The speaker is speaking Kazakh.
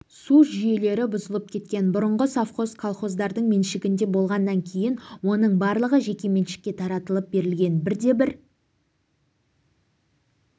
су жүйелері бұзылып кеткен бұрынғы совхоз колхоздардың меншігінде болған кейін оның барлығы жекеменшікке таратылып берілген бірде-бір